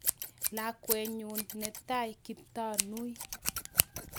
Lakwenyu netai Kiptanui.